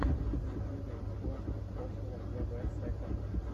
на ютьюбе в поисках прошлого вв сэконд